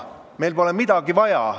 Meil pole midagi vaja.